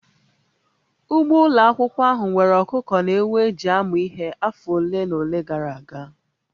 Ugbo ụlọ akwụkwọ ahụ nwere ọkụkọ na ewu e ji amụ ihe afọ ole na ole gara aga